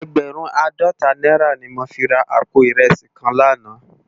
Ègbèrùn àádòtá nàirá ni mó fi rá àpó irèsí kán làná